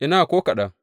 Ina, ko kaɗan!